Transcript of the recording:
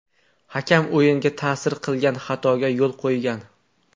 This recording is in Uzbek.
Hakam o‘yinga ta’sir qilgan xatoga yo‘l qo‘ygan.